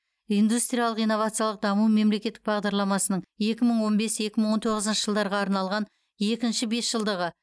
индустриялық инновациялық даму мемлекеттік бағдарламасының екі мың он бес екі мың он тоғызыншы жылдарға арналған екінші бесжылдығы